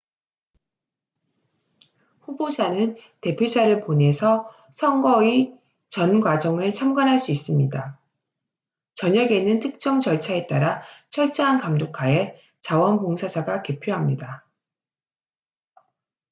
후보자는 대표자를 보내서 선거의 전 과정을 참관할 수 있습니다 저녁에는 특정 절차에 따라 철저한 감독하에 자원봉사자가 개표합니다